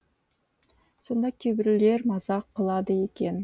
сонда кейбіреулер мазақ қылады екен